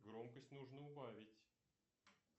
громкость нужно убавить